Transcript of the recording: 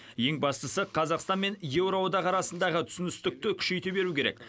ең бастысы қазақстан мен еуроодақ арасындағы түсіністікті күшейте беру керек